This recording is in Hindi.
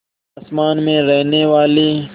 आसमान में रहने वाली